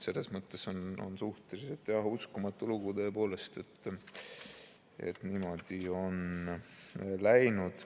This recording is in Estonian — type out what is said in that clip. Selles mõttes on suhteliselt uskumatu lugu, et niimoodi on läinud.